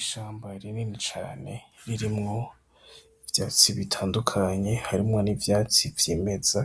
Ishamba rinini cane ririmwo ivyatsi bitandukanye harimwo n'ivyatsi vyimeza,